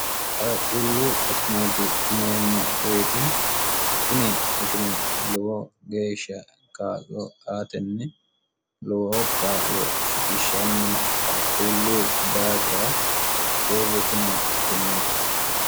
qaqquullu akimeeti yineemmo woyete tini akime lowo geeshsha kaa'lo aatenni lowo ka'lo shigishshanni qaquullu daafira huurritino akimeeti